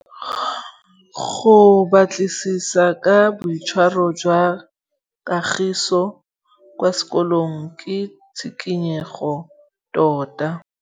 Go batlisisa ka boitshwaro jwa Kagiso kwa sekolong ke tshikinyêgô tota.